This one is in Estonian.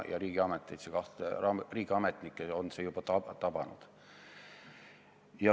Ja riigiametnikke on see juba tabanud.